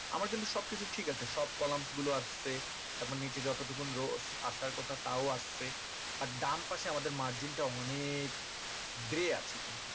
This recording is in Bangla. আমার কিন্তু সব কিছু ঠিক আছে সব column গুলো আসছে তারপর নিচে যত টুকুন row স আসার কথা তাও আসছে তার ডান পাশে আমাদের margin টা অনেক বেরে আছে কিন্তু